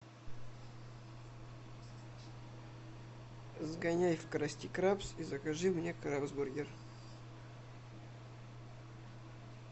сгоняй в красти крабс и закажи мне крабсбургер